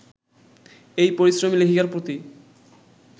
এই পরিশ্রমী লেখিকার প্রতি